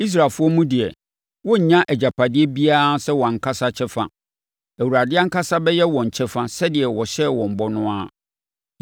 Israelfoɔ mu deɛ, wɔrennya agyapadeɛ biara sɛ wɔn ankasa kyɛfa. Awurade ankasa bɛyɛ wɔn kyɛfa sɛdeɛ ɔhyɛɛ wɔn bɔ no ara.